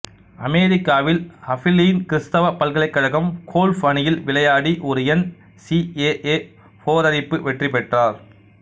அமெரிக்காவில் அபிலீன் கிறிஸ்தவ பல்கலைக்கழகம் கோல்ஃப் அணியில் விளையாடி ஒரு என் சி ஏ ஏ போரேறிப்பு வெற்றிபெற்றார்